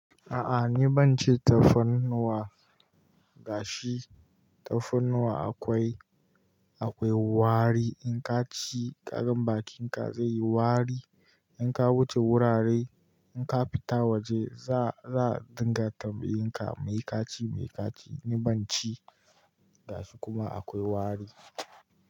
A'a ni ban ci tafarnuwa gashi tafarnuwa akwai, akwai wari in ka ci ƙarin bakin ka zai yi wari, in ka wuce wurare in ka fita waje za, za a dinga tambayan ka me ka ci? Me ka ci? Ni ban ci gashi kuma akwai wari.